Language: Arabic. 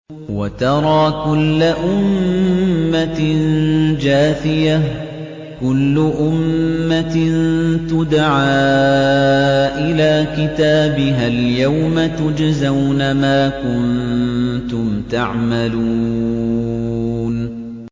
وَتَرَىٰ كُلَّ أُمَّةٍ جَاثِيَةً ۚ كُلُّ أُمَّةٍ تُدْعَىٰ إِلَىٰ كِتَابِهَا الْيَوْمَ تُجْزَوْنَ مَا كُنتُمْ تَعْمَلُونَ